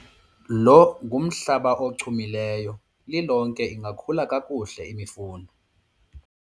lo ngumhlaba ochumileyo, lilonke ingakhula kakuhle imifuno